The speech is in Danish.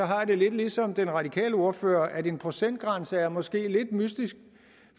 har jeg lidt ligesom den radikale ordfører at en procentgrænse måske er lidt mystisk